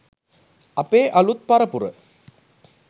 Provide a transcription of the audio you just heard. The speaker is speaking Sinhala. අපේ අලූත් පරපුර